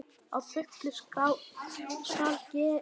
Að fullu skal greiða: